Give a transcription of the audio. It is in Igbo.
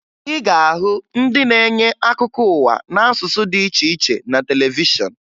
Ị ga-ahụ ndị na-enye akụkọ ụwa n'asụsụ dị iche iche na televishọn